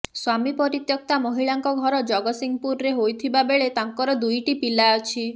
ସ୍ୱାମୀ ପରିତ୍ୟକ୍ତା ମହିଳାଙ୍କ ଘର ଜଗତ୍ସଂହପୁରରେ ହୋଇଥିବା ବେଳେ ତାଙ୍କର ଦୁଇଟି ପିଲା ଅଛି